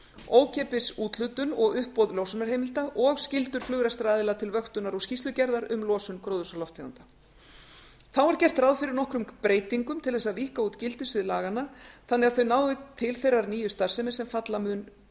ókeypis úthlutun og uppbót losunarheimilda og skyldur flugrekstraraðila til vöktunar og skýrslugerðar um losun gróðurhúsalofttegunda þá er gert ráð fyrir nokkrum breytingum til þess að víkka út gildissvið laganna þannig að þau nái til þeirrar nýju starfsemi sem falla mun